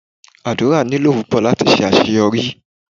Àdúrà wúlò púpò láti ṣe àṣeyọrí.